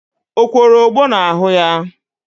O kworo ogbo n'ahụ ya?